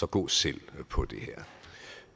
gå selv på det